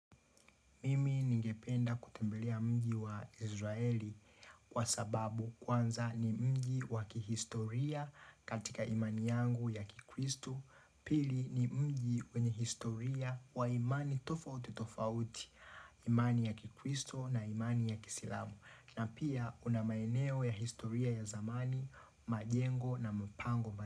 Mimi ningependa kutembelea mji wa Israeli kwa sababu kwanza ni mji wa kihistoria katika imani yangu ya kikristo, pili ni mji wenye historia wa imani tofauti tofauti, imani ya kikristo na imani ya kisilamu, na pia kunamaeneo ya historia ya zamani, majengo na mpango.